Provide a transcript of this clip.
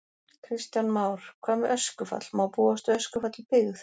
Kristján Már: Hvað með öskufall, má búast við öskufalli í byggð?